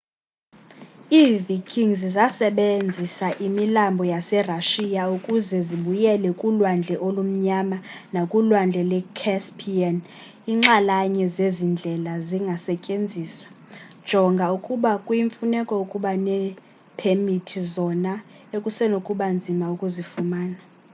iivikings zasebenzisa imilambo yaserashiya ukuze zibuyele kulwandle olumnyama nakulwandle lwe-caspian iinxalanye zezi ndlela zingasetyenziswa jonga ukuba kuyimfuneko ukuba neepemithi zona ekusenokuba nzima ukuzifumana